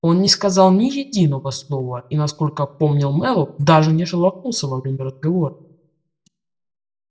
он не сказал ни единого слова и насколько помнил мэллоу даже не шелохнулся во время разговора